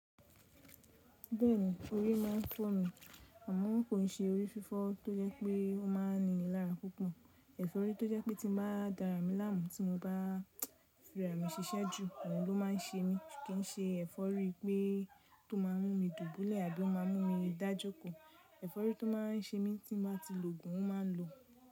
Bẹ́ẹ̀ni orí máa ń fọ́ mi, àmọ́ kò ṣe orí fífọ́ tó jẹ́ pé ó máa ń ni ìlara púpọ̀. Ẹ̀fọ́rí tó jẹ́ pé tí mo bá dára mi láàmú tí mo bá fi ara mi ṣiṣẹ́ jù, òun ló máa ń ṣe mí kìí ṣe ẹ̀fọ́rí pé tó máa mú mi dùbúlẹ̀ àbí ó máa mú mi dájókòó. Ẹ̀fọ́rí tó má a ń ṣe mí tí mo bá ti lògùn a má a lò.